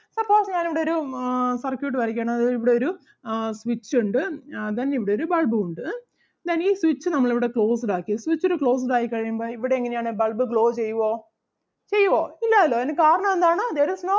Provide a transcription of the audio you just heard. suppose ഞാൻ ഇവിടൊരു ആഹ് circuit വരക്കുകയാണ് അതായത് ഇവിടെയൊരു ആഹ് switch ഒണ്ട് ആഹ് then ഇവിടെയൊരു bulb ഉം ഒണ്ട് ഉം then ഈ switch നമ്മൾ ഇവിടെ closed ആക്കി switched closed ആയി കഴിയുമ്പോൾ ഇവിടെ എങ്ങനെ ആണ് bulb glow ചെയ്യുവോ ചെയ്യുവോ ഇല്ലാല്ലോ അതിന് കാരണം എന്താണ് there is no